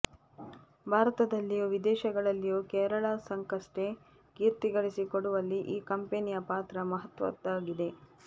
ಭಾರತದಲ್ಲಿಯೂ ವಿದೇಶಗಳಲ್ಲಿಯೂ ಕೇರಳ ಸರ್ಕಸ್ಗೆ ಕೀರ್ತಿಗಳಿಸಿಕೊಡುವಲ್ಲಿ ಈ ಕಂಪೆನಿಯ ಪಾತ್ರ ಮಹತ್ವದ್ದಾಗಿದೆ